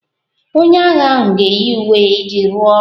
Onye agha ahụ ga-eyi uwe ya iji rụọ ọrụ